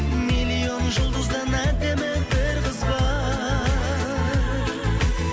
миллион жұлдыздан әдемі бір қыз бар